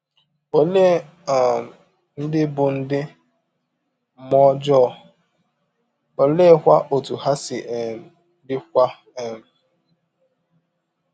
Ọlee um ndị bụ ndị mmụọ ọjọọ, ọleekwa ọtụ ha si um dịwa um?